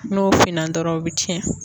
N'o finna dɔrɔn u bɛ cɛn.